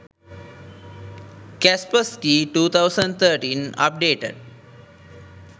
kaspersky 2013 updated